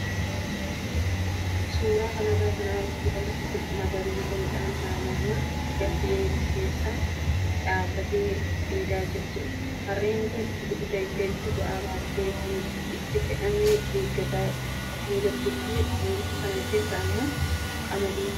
Suuraa kanarraa kan agarru harree lafa magariisa midhaan haamamuuf gahe keessa dhaabbattee dheedaa jirtudha. Harreen kun dugda isheetti ba'aa baattee waan itti fe'amu eeggataa kan jirtuu fi ooyiruu sana keessa immoo qamadiitu jira.